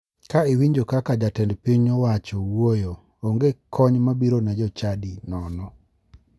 Ka iwinjo kaka jatend piny owacho wuoyo, onge kony mabiro ne jochadi nono.